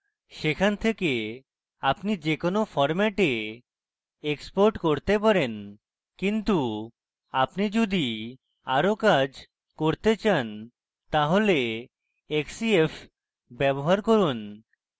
সেখানে থেকে আপনি যে কোনো ফরম্যাটে export করতে পারেন কিন্তু আপনি যদি আরো কাজ করতে চান তাহলে xcf ব্যবহার করুন